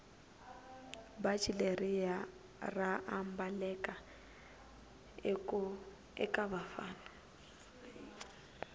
bhatji leriya raambaleka ekavafana